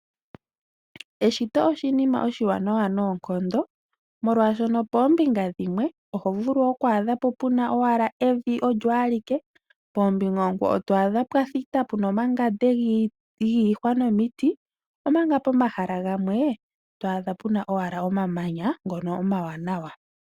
Eshito oshinima oshiwanawa noonkondo molwaashono poombinga dhimwe oho vulu oku adha po puna owala eviolyo alike, poombinga oonkwawo to adha pwa thita, puna omangande giihwa nomiti omanga pomahala gamwe, to adha owala puna omamanya, ngono omawanawa.